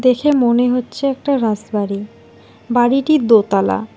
দেখে মনে হচ্ছে একটা রাসবাড়ী বাড়িটির দোতলা।